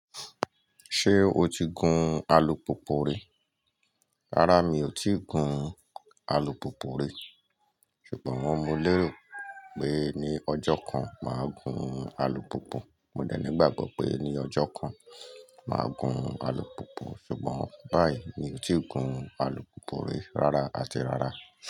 Ṣé o ti gun alùpùpù rí? Rárá mi ò ti gun alùpùpù rí, ṣùgbọ́n wọ́n múu lérò pé ní ọjọ́ kan máa gun alùpùpù. Mò dẹ̀ nígbà gbo pé ní ọjọ́ kan máa gun alùpùpù ṣùgbọ́n báyìí mi ò ti gun alùpùpù rí rárá àti rárá.